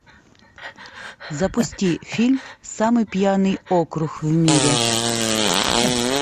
запусти фильм самый пьяный округ в мире